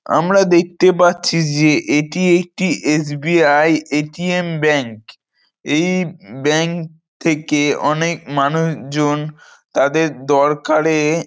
আমরা দেখতে পাচ্ছি যে এটি একটি এস.বি.আই. এ.টি.এম. ব্যাঙ্ক । এই ব্যাঙ্ক থেকে অনেক মানুষ জন তাদের দরকারে--